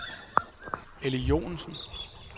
Elly Joensen